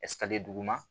duguma